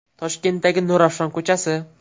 Toshkentdagi Nurafshon ko‘chasi.